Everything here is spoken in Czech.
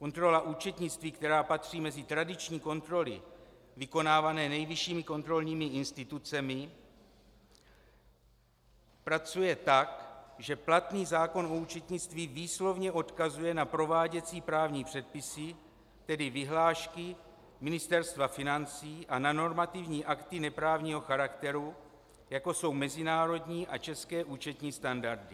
Kontrola účetnictví, která patří mezi tradiční kontroly vykonávané nejvyššími kontrolními institucemi, pracuje tak, že platný zákon o účetnictví výslovně odkazuje na prováděcí právní předpisy, tedy vyhlášky Ministerstva financí, a na normativní akty neprávního charakteru, jako jsou mezinárodní a české účetní standardy.